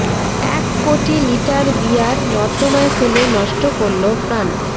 এক কোটি litre beer নর্দমায় ফেলে নষ্ট করল ফ্রান্স